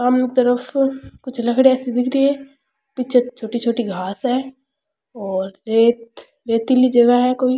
सामने तरफ कुछ लकड़ियां सी दिख री हैपीछे छोटी-छोटी घास है और रेत रेतीली जगह है कोई।